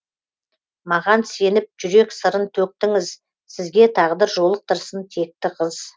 маған сеніп жүрек сырын төктіңіз сізге тағдыр жолықтырсын текті қыз